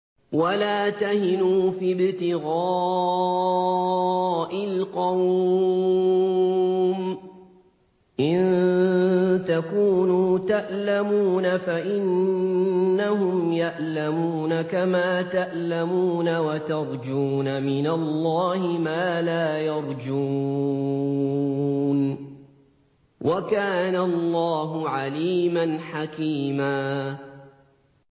وَلَا تَهِنُوا فِي ابْتِغَاءِ الْقَوْمِ ۖ إِن تَكُونُوا تَأْلَمُونَ فَإِنَّهُمْ يَأْلَمُونَ كَمَا تَأْلَمُونَ ۖ وَتَرْجُونَ مِنَ اللَّهِ مَا لَا يَرْجُونَ ۗ وَكَانَ اللَّهُ عَلِيمًا حَكِيمًا